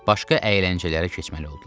Başqa əyləncələrə keçməli oldular.